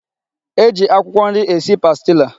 E ji akwụkwọ nri esi pastila.